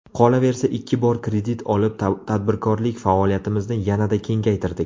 Qolaversa ikki bor kredit olib, tadbirkorlik faoliyatimizni yanada kengaytirdik.